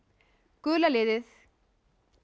gula liðið